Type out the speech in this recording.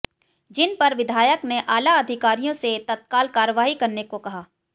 जिन पर विधायक ने आला अधिकारियों से तत्काल कार्यवाही करने को कहा